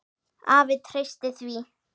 Afi treysti því.